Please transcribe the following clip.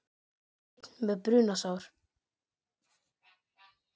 Einn með brunasár